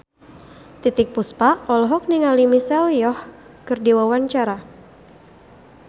Titiek Puspa olohok ningali Michelle Yeoh keur diwawancara